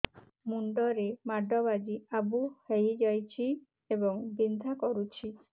ମୁଣ୍ଡ ରେ ମାଡ ବାଜି ଆବୁ ହଇଯାଇଛି ଏବଂ ବିନ୍ଧା କରୁଛି